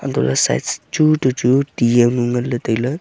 antoley side s chu to chu tih jaonu nganley tailey.